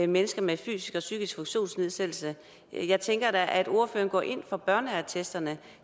mennesker med fysisk og psykisk funktionsnedsættelse jeg tænker da at ordføreren går ind for børneattesterne